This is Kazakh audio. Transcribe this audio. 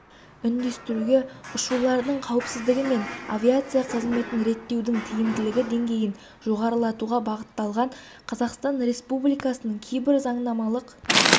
үндестіруге ұшулардың қауіпсіздігі мен авиация қызметін реттеудің тиімділігі деңгейін жоғарылатуға бағытталған қазақстан республикасының кейбір заңнамалық